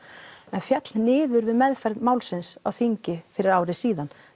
en féll niður við meðferð málsins á þingi fyrir ári síðan